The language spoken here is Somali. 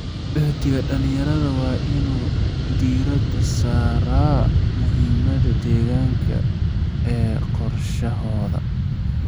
Uhdhigga dhalinyarada waa in uu diiradda saaraa muhiimada deegaanka ee qorshahooda.